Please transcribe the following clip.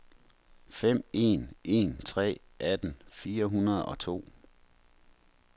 fem en en tre atten fire hundrede og to